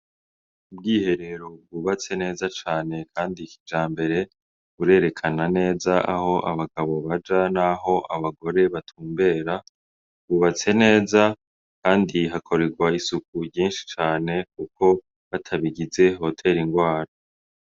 Ubwiherero bwubatse neza cane kandi kijambere, burerekana neza aho abagabo baja naho abagore batumbera, bwubatse neza, kandi hakorerwa n'isuku ryinshi cane kuko, batabigize vyotera indwara.